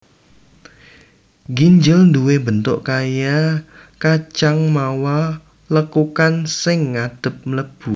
Ginjel duwé bentuk kaya kacang mawa lekukan sing ngadhep mlebu